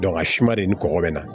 a si ma de ni kɔkɔ bɛ na